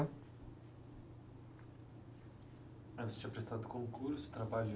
Aí você tinha prestado concurso, trabalhou...